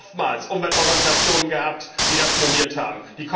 Wir haben oftmals Umweltorganisationen gehabt, die das moniert haben.